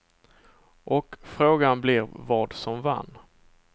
Och frågan blir vad som vann.